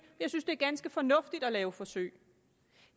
jeg synes det er ganske fornuftigt at lave forsøg